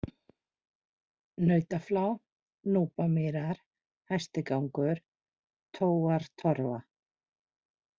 Nautaflá, Núpamýrar, Hæstigangur, Tóartorfa